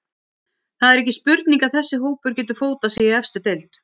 Það er ekki spurning að þessi hópur getur fótað sig í efstu deild.